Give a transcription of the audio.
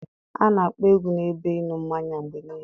A na-akpọ egwu n'ebe ịṅụ mmanya mgbe niile.